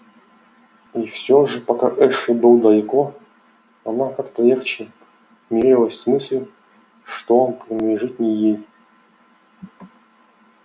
и всё же пока эшли был далеко она как-то легче мирилась с мыслью что он принадлежит не ей